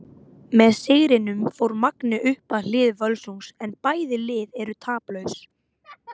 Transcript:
Með sigrinum fór Magni upp að hlið Völsungs en bæði lið eru taplaus.